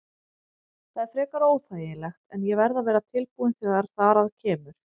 Það er frekar óþægilegt en ég verð að vera tilbúinn þegar þar að kemur.